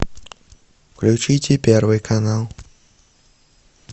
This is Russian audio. включите первый канал